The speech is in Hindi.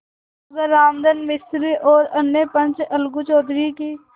मगर रामधन मिश्र और अन्य पंच अलगू चौधरी की